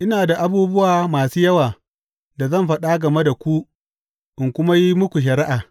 Ina da abubuwa masu yawa da zan faɗa game ku in kuma yi muku shari’a.